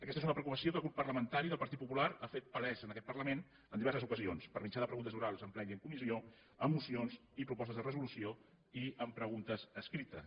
aquesta és una preocupació que el grup parlamentari del partit popular ha fet palesa en aquest parlament en diverses ocasions per mitjà de preguntes orals en ple i en comissió amb mocions i propostes de resolució i amb preguntes escrites